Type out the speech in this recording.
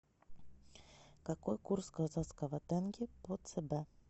какой курс казахского тенге по цб